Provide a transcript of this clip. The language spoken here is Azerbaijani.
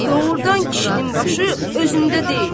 Doğrudan kişinin başı özündə deyil.